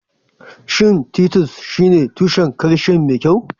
Shin Titus shine tushen calcium mai kyau?